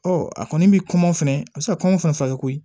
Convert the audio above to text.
Ɔ a kɔni bɛ kɔngɔ fɛnɛ a bɛ se ka kɔnɔn fɛnɛ faga koyi